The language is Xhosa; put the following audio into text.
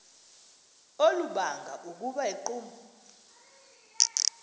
olubanga ukuba iqumrhu